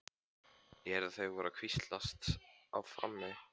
Ég heyrði að þau voru að hvíslast á frammi.